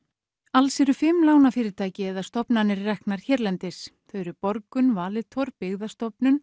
alls eru fimm lánafyrirtæki eða stofnanir reknar hérlendis þau eru Borgun Valitor Byggðastofnun